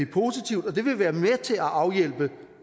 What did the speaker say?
positivt det ville være med til at afhjælpe